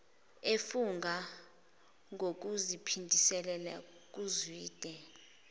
efunga ngokuziphindisela kuzwide